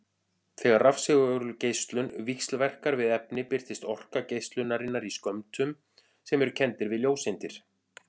Þegar rafsegulgeislun víxlverkar við efni birtist orka geislunarinnar í skömmtum sem eru kenndir við ljóseindir.